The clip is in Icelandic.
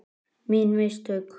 Mín mistök?